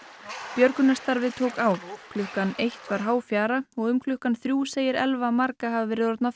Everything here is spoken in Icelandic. björgunarstarfið tók á klukkan eitt var og um klukkan þrjú segir Elva marga hafa verið orðna